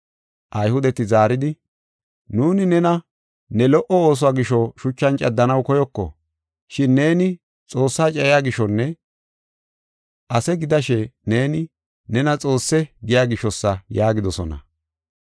Ayhudeti zaaridi, “Nuuni nena ne lo77o ooso gisho shuchan caddanaw koyoko. Shin neeni Xoossaa cayiya gishonne ase gidashe neeni, nena Xoosse giya gishosa” yaagidosona.